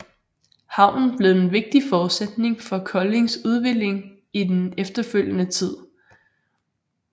Havnen blev en vigtig forudsætning for Koldings udvikling i den efterfølgende tid